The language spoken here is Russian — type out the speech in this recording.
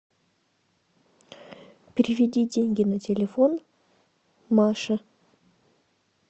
переведи деньги на телефон маше